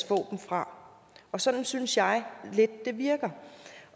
få dem fra sådan synes jeg lidt at det virker